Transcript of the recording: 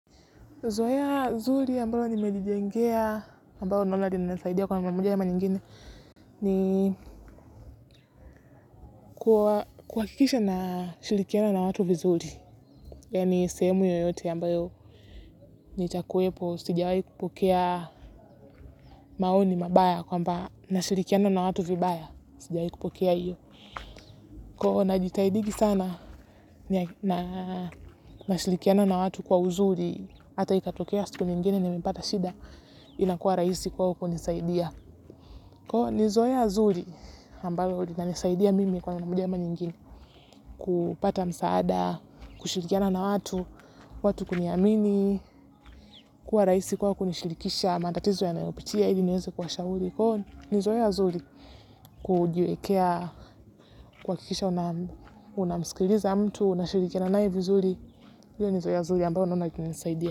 Zoea zuri ambalo nimejijengea ambalo naona linasaidia kwa mara moja ama nyingine ni kuhakikisha nashirikiana na watu vizuri yaani sehemu yoyote ambayo nitakuwepo sijawahi kupokea maoni mabaya kwamba nashirikiana na watu vibaya sijawahi kupokea hiyo. Kwa hivyo najitahidingi sana nashirikiana na watu kwa uzuri hata ikatokea siku nyingine nimepata shida inakuwa rahisi kwao kunisaidia kwa hivyo ni zoea zuri ambalo linanisaidia mimi kwa mara moja ama nyingine kupata msaada, kushirikiana na watu watu kuniamini kuwa rahisi kwao kunishirikisha matatizo yanayopitia ili niweze kuwashauri kwa hivyo ni zoea zuri kujiwekea, kuhakikisha unamsikiliza mtu unashirikiana naye vizuri hiyo ni zoea zuri ambayo naona ikinisaidia.